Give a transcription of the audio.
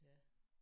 Ja